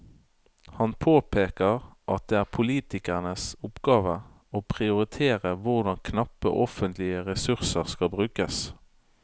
Han påpeker at det er politikernes oppgave å prioritere hvordan knappe offentlige ressurser skal brukes.